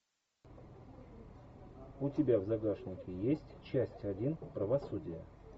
у тебя в загашнике есть часть один правосудие